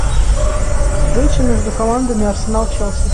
встреча между командами арсенал челси